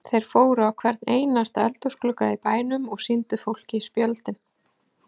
Þeir fóru á hvern einasta eldhúsglugga í bænum og sýndu fólki spjöldin.